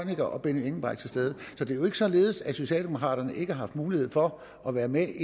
herre benny engelbrecht til stede så det er jo ikke således at socialdemokraterne ikke har haft mulighed for at være med